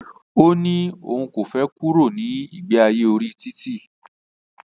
Ó ní òun kò fẹ kúrò nínu ìgbe ayé orí títì.